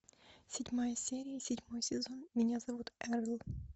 седьмая серия седьмой сезон меня зовут эрл